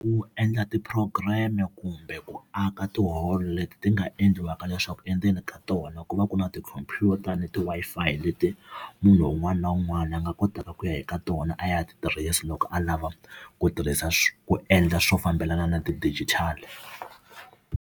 Ku endla ti-program-i kumbe ku aka tiholo leti ti nga endliwaka leswaku endzeni ka tona ku va ku na tikhompyuta ni ti-Wi-Fi leti munhu un'wana na un'wana a nga kotaka ku ya eka tona a ya ti tirhisa loko a lava ku tirhisa ku endla swo fambelana na ti-digital-i.